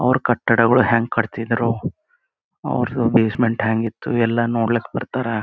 ಅವ್ರ್ ಕಟ್ಟಡಗಳು ಹೆಂಗ್ ಕಟ್ಟಿದ್ರು ಅವರ್ದು ಬೇಸ್ ಮೆಂಟ್ ಹ್ಯಾಂಗ್ ಇತ್ತು ಎಲ್ಲ ನೋಡ್ಲಿಕ್ ಬರ್ತಾರಾ .